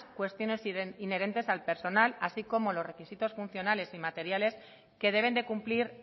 cuestiones inherentes al personal así como los requisitos funcionales y materiales que deben de cumplir